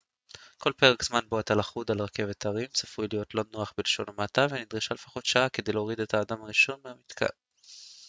כל פרק זמן בו אתה לכוד על רכבת הרים צפוי להיות לא נוח בלשון המעטה ונדרשה לפחות שעה כדי להוריד את האדם הראשון מהמתקן